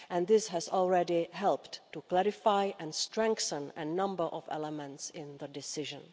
And this has already helped to clarify and strengthen a number of elements in the decision.